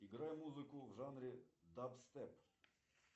играй музыку в жанре даб степ